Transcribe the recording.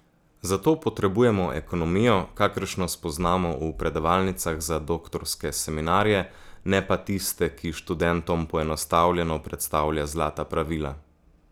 Zato potrebujemo ekonomijo, kakršno spoznamo v predavalnicah za doktorske seminarje, ne pa tiste, ki študentom poenostavljeno predstavlja zlata pravila.